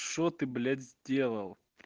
что ты блять сделал